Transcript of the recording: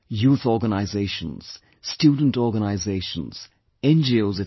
Youth organisations, student organisations, NGOs, etc